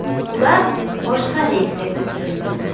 Ular boshqa reysga ko‘chirildi.